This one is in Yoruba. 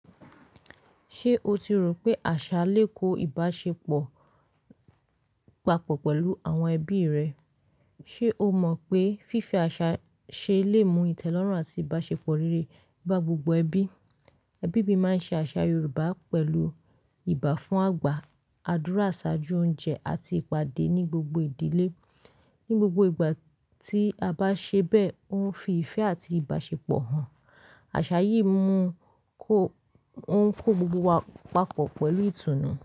Ṣé o ti rò pé àṣà lè kó ìbáṣepọ̀ papọ̀ pẹ̀lú àwọn ẹbí rẹ? Ṣé o mọ̀ pé fífe àṣà ṣe lè mú ìtẹ́lọ́rùn àti ìbáṣepọ̀ rere ba gbogbo ẹbí? Ẹbí mi máa ń ṣe àṣà Yorùbá pẹ̀lú ìbá fún àgbà, àdúrà ṣáájú oúnjẹ, àti ìpàdé ní gbogbo ìdílé. Ní gbogbo ìgbà tí a bá ṣe bẹ́ẹ̀, ó ń fi ìfẹ́ àti ìbáṣepọ̀ hàn. Àṣà yìí mú kó ó ń kó gbogbo wa papọ̀ pẹ̀lú ìtùnú.